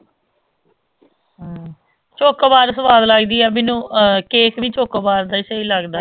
ਹਮ choco bar ਸਵਾਦ ਲੱਗਦੀ ਆ ਮੈਨੂੰ ਅਹ ਕੇਕ ਵੀ choco bar ਦਾ ਈ ਸਈ ਲੱਗਦਾ